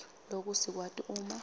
loku sikwati uma